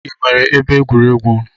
I nwere ebe egwuregwu n'